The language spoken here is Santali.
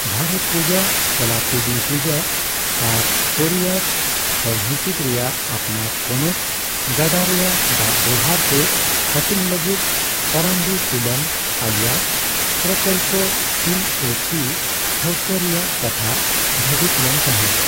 ᱵᱷᱟᱨᱚᱛᱯᱩᱡᱟᱹ, ᱪᱟᱞᱟᱠᱩᱰᱤᱯᱩᱡᱷᱟ ᱟᱨ ᱯᱮᱨᱤᱭᱟᱨ ᱦᱚᱭᱦᱤᱥᱤᱫ ᱨᱮᱭᱟᱜ ᱟᱯᱱᱟᱨᱼᱯᱚᱱᱚᱛ ᱜᱟᱰᱟ ᱨᱮᱭᱟᱜ ᱫᱟᱜ ᱵᱮᱵᱚᱦᱟᱨ ᱥᱮ ᱦᱟᱹᱴᱤᱧ ᱞᱟᱹᱜᱤᱫ ᱯᱟᱨᱟᱢᱵᱤᱠᱩᱞᱟᱢ ᱟᱞᱤᱭᱟ ᱯᱨᱚᱠᱚᱞᱯ(ᱯᱤ ᱮ ᱯᱤ) ᱴᱷᱟᱹᱣᱠᱟᱹ ᱨᱮᱭᱟᱜ ᱠᱟᱛᱷᱟ ᱵᱷᱟᱹᱵᱤᱛ ᱞᱮᱱ ᱛᱟᱦᱮᱸ᱾